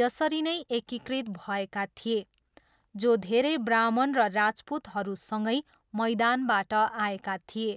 यसरी नै एकीकृत भएका थिए, जो धेरै ब्राह्मण र राजपूतहरूसँगै मैदानबाट आएका थिए।